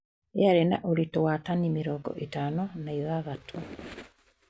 Yaarĩ na ũritũ wa tani mĩrongo ithano na ithathatũ